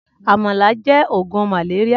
Amàlá jè ógún màlérià